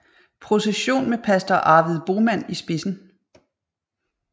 Procession med pastor Arvid Boman i spidsen